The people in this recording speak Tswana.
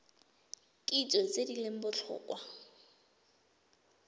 kitso tse di leng botlhokwa